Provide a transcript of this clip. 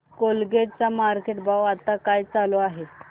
Colgate चा market भाव आता काय चालू आहे